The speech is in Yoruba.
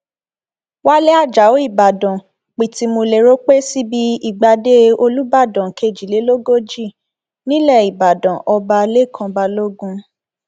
wálé ajáò ìbáàdàn pìtìmù lérò pé síbi ìgbàdé olùbàdàn kejìlélógójì nílẹ ìbàdàn ọba lẹkàn balógun